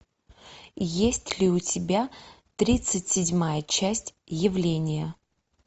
есть ли у тебя тридцать седьмая часть явление